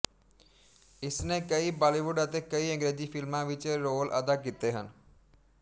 ਇਸਨੇ ਕਈ ਬਾਲੀਵੁੱਡ ਅਤੇ ਕਈ ਅੰਗਰੇਜ਼ੀ ਫਿਲਮਾਂ ਵਿੱਚ ਰੋਲ ਅਦਾ ਕੀਤੇ ਹਨ